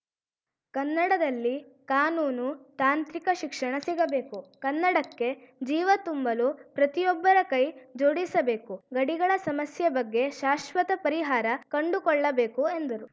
ಕನ್ನಡದಲ್ಲಿ ಕಾನೂನು ತಾಂತ್ರಿಕ ಶಿಕ್ಷಣ ಸಿಗಬೇಕು ಕನ್ನಡಕ್ಕೆ ಜೀವ ತುಂಬಲು ಪ್ರತಿಯೊಬ್ಬರ ಕೈ ಜೋಡಿಸಬೇಕು ಗಡಿಗಳ ಸಮಸ್ಯೆ ಬಗ್ಗೆ ಶಾಶ್ವತ ಪರಿಹಾರ ಕಂಡುಕೊಳ್ಳಬೇಕು ಎಂದರು